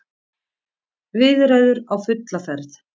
Viðræður á fulla ferð